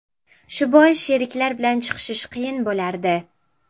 Shu bois sheriklar bilan chiqishish qiyin bo‘lardi.